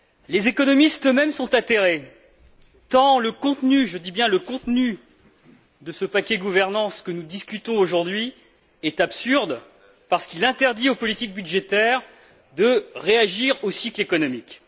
Les économistes eux mêmes sont atterrés, tant le contenu je dis bien le contenu de ce paquet gouvernance que nous discutons aujourd'hui est absurde, parce qu'il interdit aux politiques budgétaires de réagir aux cycles économiques.